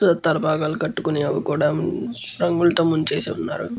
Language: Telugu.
ఉమ్ తలపాగాలు కట్టుకొని అవికూడా రంగులతో మున్చేసి వున్నారు.